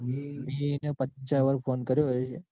મીયે એને પાછા વાર ફોન કર્યો હોય.